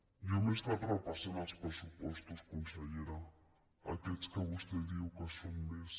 jo m’he estat repassant els pressupostos con·sellera aquests que vostè diu que són més